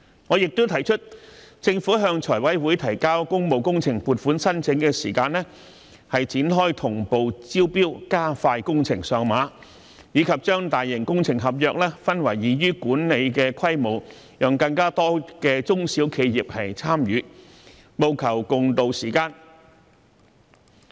我亦提出，政府向財務委員會提交工務工程撥款申請時展開"同步招標"，加快工程上馬，以及把大型工程合約分拆為易於管理的規模，讓更多中小型企業參與，務求共渡時艱。